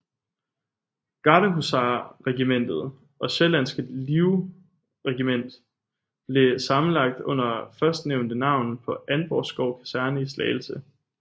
Gardehusarregimentet og Sjællandske Livregiment blev sammenlagt under førstnævnte navn på Antvorskov Kaserne i Slagelse